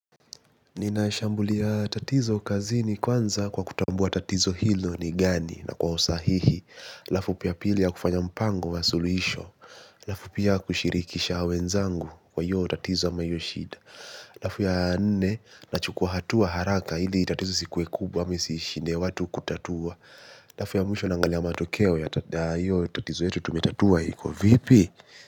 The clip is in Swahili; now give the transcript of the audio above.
Ninaishambulia tatizo kazini kwanza kwa kutambua tatizo hilo ni gani na kwa usahihi. Lafu pia pili ya kufanya mpango wa suluisho. Lafu pia kushirikisha wenzangu kwa hiyo tatizo ama hiyoshida. Lafu ya nne nachukua hatua haraka hili tatizo isikuwe kubwa amesishine watu kutatua. Lafu ya mwisho nangalia matokeo ya hiyo tatizo yetu tumetatua hiko vipi.